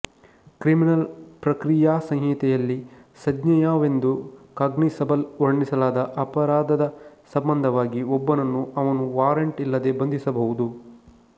criminal ಪ್ರಕ್ರಿಯಾಸಂಹಿತೆಯಲ್ಲಿ ಸಂಜ್ಞೇಯವೆಂದು cognizable ವರ್ಣಿಸಲಾದ ಅಪರಾಧದ ಸಂಬಂಧವಾಗಿ ಒಬ್ಬನನ್ನು ಅವನು ವಾರಂಟ್ ಇಲ್ಲದೆ ಬಂಧಿಸಬಹುದು